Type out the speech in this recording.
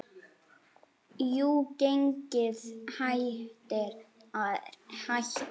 Jú, gengið hættir að hækka.